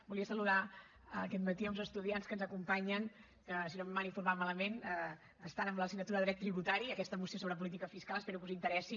volia saludar aquest matí uns estudiants que ens acompanyen que si no m’han informat malament estan amb l’assignatura de dret tributari aquesta moció sobre política fiscal espero que us interessi